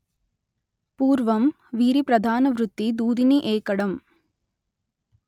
పూర్వం వీరి ప్రధాన వృత్తి దూదిని ఏకడం